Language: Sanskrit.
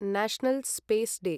national space day